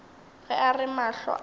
ge a re mahlo a